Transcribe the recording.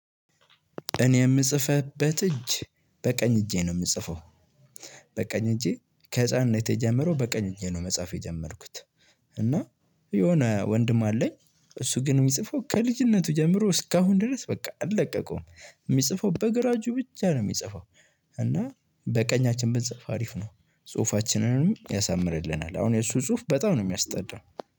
እኔ የምጽፍበት እጅ በቀኝ እጄ ነው የምጽፈው። በቀኝ እጄ ከህፃንነቴ ጀምሮ በቀኝ እጄ ነው መጽሐፍ የጀመርኩት። እና የሆነ ወንድም አለኝ እሱ ግን የሚጽፈው ከልጅነቱ ጀምሮ እስካሁን ድረስ በቃ አለቀቀውም። የሚጽፈው በግራ እጁ ብቻ ነው የሚጽፈው። እና በቀኛችን ብንጽፍ አሪፍ ነው ጽሁፋችንንም ያሳምርልናል። አሁን የእሱ ጽሁፍ በጣም ነው የሚያስጠላው።